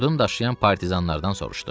Odun daşıyan partizanlardan soruşdu.